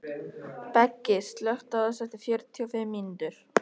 Beggi, slökktu á þessu eftir fjörutíu og fimm mínútur.